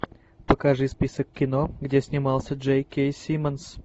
покажи список кино где снимался джей кей симмонс